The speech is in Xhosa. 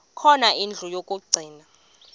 khona indlu yokagcina